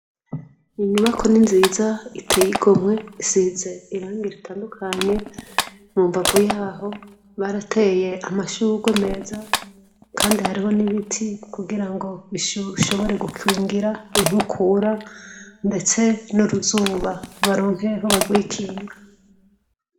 Inyubako ni nziza iteye igomwe. Isize irangi ritandukanye. Mu mbavu yaho barateye amashurwe meza kandi hariho n’ibiti kugira ngo bishobore gukingira inkukura ndetse n'uruzuba baronke aho barwikinga.